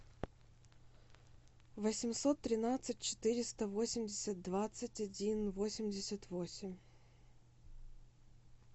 восемьсот тринадцать четыреста восемьдесят двадцать один восемьдесят восемь